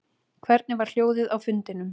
Hvernig var hljóðið á fundinum